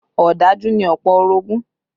Ọ̀dájú ni ọ̀pọ̀ orogún